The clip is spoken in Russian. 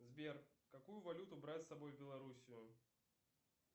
сбер какую валюту брать с собой в белоруссию